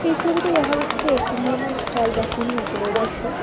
এই ছবিতে দেখা যাচ্ছে একটি নির্মাণ স্থল বা খনি অঞ্চলের দৃশ্য।